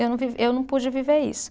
Eu não vivi, eu não pude viver isso.